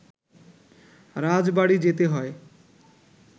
রাজবাড়ি যেতে হয়